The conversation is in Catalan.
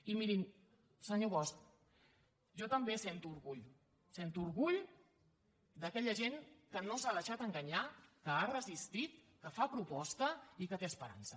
i mirin senyor bosch jo també sento orgull sento orgull d’aquella gent que no s’ha deixat enganyar que ha resistit que fa proposta i que té esperança